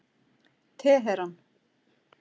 Teheran